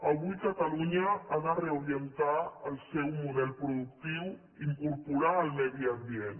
avui catalunya ha de reorientar el seu model productiu i incorporar el medi ambient